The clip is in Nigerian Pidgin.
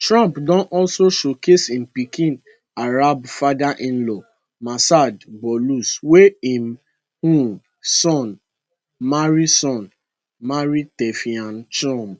trump don also showcase im pikin arab fatherinlaw massad boulous wey im um son marry son marry tiffany trump